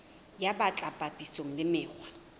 ya bt papisong le mekgwa